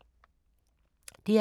DR K